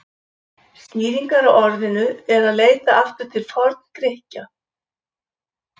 Skýringar á orðinu er að leita aftur til Forngrikkja.